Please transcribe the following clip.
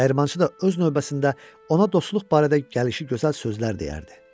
Dəyirmançı da öz növbəsində ona dostluq barədə gəlişi gözəl sözlər deyərdi.